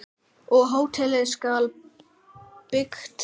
Og hótelið skal byggt.